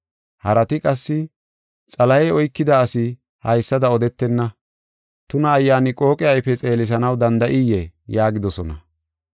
Harati qassi, “Xalahey oykida asi haysada odetenna. Tuna ayyaani qooqe ayfe xeelisanaw danda7iyee?” yaagidosona.